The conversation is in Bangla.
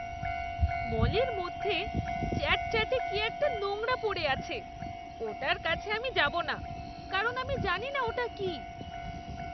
মলের মধ্যে চ্যাটচ্যাটে কী একটা নোংরা পড়ে আছে ওটার কাছে আমি যাব না কারণ আমি জানিনা ওটা কী!